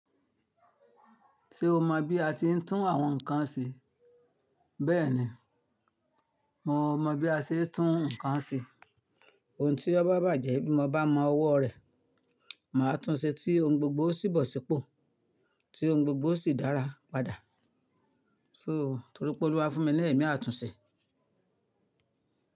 Ṣé o mọ bí a ti ń tún àwọn nǹkan ṣe? Bẹ́ẹ̀ni, mo mọ bí a ṣe ń tún nǹkan ṣe. Ohun tí ó bá bàjẹ́ bí mo bá mọ ọwọ́ rẹ̀, màá tún ṣe tí ohun gbogbo sì bọ̀ sípò, tí ohun gbogbo sì dára padà. So, torí pé Olúwá fún mi ní ẹ̀mí, a tún ṣe.